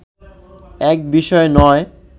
এক বিষয় নয়